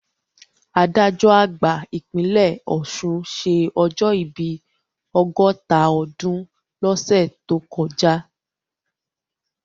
Adájọ́ àgbà ìpínlẹ̀ Ọ̀ṣun ṣé ọjọ́ ìbí ọgọ́ta ọdún lọ́sẹ̀ tó kọjá